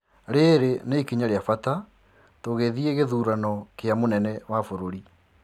Riri ni ikinya ria bata tũgĩthii githurano kia mũnene wa bũrũri.